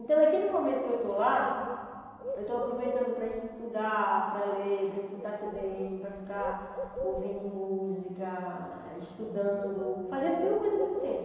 Então naquele momento que eu estou lá, eu estou aproveitando para estudar, para ler, para escutar cê bê êne, para ficar ouvindo música, estudando, fazendo mil coisas ao mesmo tempo.